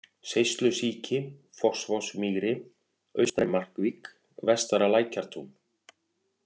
Seislusíki, Fossvogsmýri, Austari-Markvík, Vestara-Lækjartún